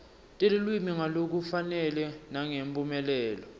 telulwimi ngalokufanele nangemphumelelo